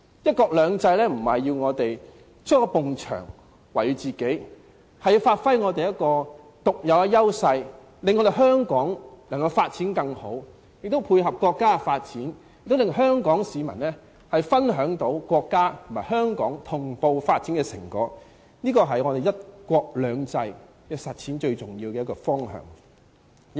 "一國兩制"並非要我們築起一道牆圍繞自己，而是要發揮我們的獨有優勢，令香港有更好的發展，並且配合國家的發展，令香港市民可以分享國家和香港同步發展的成果，這是實踐"一國兩制"最重要的方向。